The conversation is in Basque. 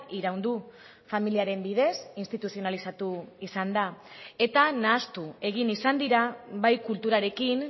iraun du familiaren bidez instituzionalizatu izan da eta nahastu egin izan dira bai kulturarekin